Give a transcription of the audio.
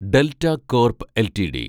delta Corp LTD